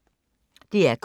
DR K